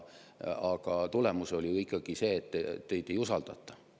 Aga tulemus on ikkagi see, et teid ei usaldata.